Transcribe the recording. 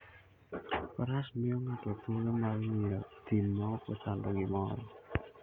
Faras miyo ng'ato thuolo mar ng'iyo thim maok ochando gimoro.